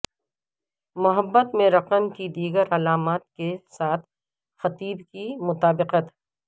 محبت میں رقم کی دیگر علامات کے ساتھ خطیب کی مطابقت